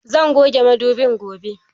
Zan goge madobin gobe